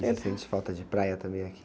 Você sente falta de praia também aqui?